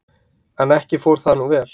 En ekki fór það nú vel.